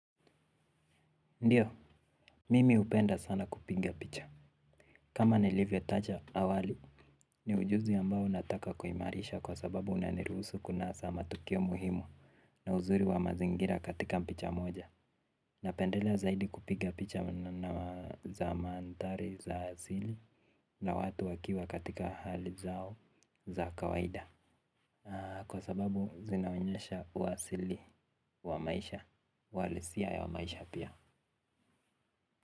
Ndiyo, mimi hupenda sana kupiga picha. Kama nilivyotaja awali, ni ujuzi ambao nataka kuimarisha kwa sababu unaniruhusu kunasa matukio muhimu na uzuri wa mazingira katika picha moja. Napendelea zaidi kupiga picha za mandhari za asili na watu wakiwa katika hali zao za kawaida. Kwa sababu zinaonyesha uasili wa maisha, uhalisia ya maisha pia.